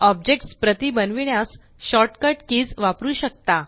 objects प्रती बनविण्यास shortcut keys वापरू शकता